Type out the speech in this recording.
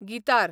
guitar